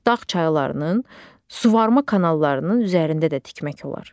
kiçik dağ çaylarının, suvarma kanallarının üzərində də tikmək olar.